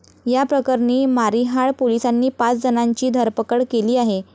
या प्रकरणी मारिहाळ पोलिसांनी पाच जणांची धरपकड केली आहे.